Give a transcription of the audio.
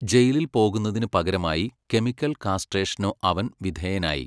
ജയിലിൽ പോകുന്നതിനു പകരമായി കെമിക്കൽ കാസ്ട്രേഷനു അവൻ വിധേയനായി.